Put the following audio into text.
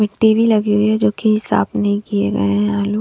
मिट्टी भी लगी हुई है जो कि साफ नहीं किए गए आलू--